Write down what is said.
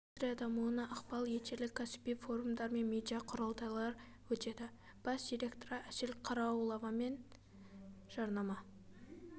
индустрия дамуына ықпал етерлік кәсіби форумдар мен медиа құрылтайлар өтеді бас директоры әсел қараулова мен жарнама